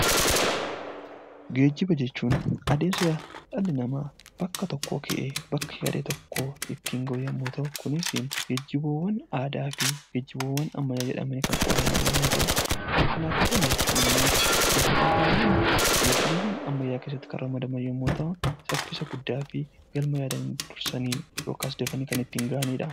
Geejjiba jechuun adeemsa dhalli namaa bakka tokkoo ka'ee gara tokko ittiin gahu yommuu ta'u, kunis geejjiba aadaa fi geejjiba ammayyaa jedhamanii kan qoodaman yommuu ta'u, konkolaataawwan immoo geejjibaawwaan ammayyaa keessatti kan ramadaman yoo ta'u, saffisa guddaa fi galma yaadan dafanii kan ittiin gahanidha.